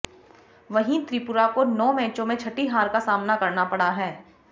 वहीं त्रिपुरा को नौ मैचों में छठी हार का सामना करना पड़ा है